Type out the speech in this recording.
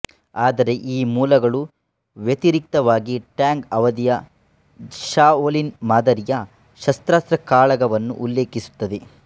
ಆದರೆ ಈ ಮೂಲಗಳು ವ್ಯತಿರಿಕ್ತವಾಗಿ ಟ್ಯಾಂಗ್ ಅವಧಿಯ ಶಾಓಲಿನ್ ಮಾದರಿಯ ಸಶಸ್ತ್ರ ಕಾಳಗವನ್ನು ಉಲ್ಲೇಖಿಸುತ್ತದೆ